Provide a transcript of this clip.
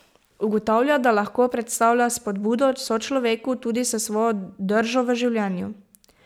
Ugotavlja, da lahko predstavlja spodbudo sočloveku tudi s svojo držo v življenju.